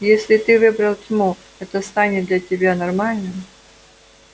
если ты выбрал тьму это станет для тебя нормальным